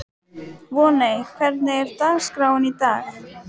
Voney, hvernig er dagskráin í dag?